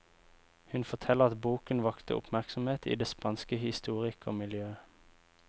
Hun forteller at boken vakte oppmerksomhet i det spanske historikermiljøet.